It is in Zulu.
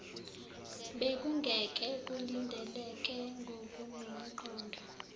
bekungeke kulindeleke ngokunomqondo